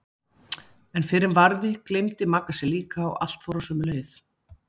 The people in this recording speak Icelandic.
En fyrr en varði gleymdi Magga sér líka og allt fór á sömu leið.